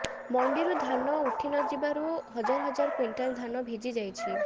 ମଣ୍ଡିରୁ ଧାନ ଉଠିନଥିବାରୁ ହଜାର ହଜାର କ୍ୱିଣ୍ଟାଲ ଧାନ ଭିଜି ଯାଇଛି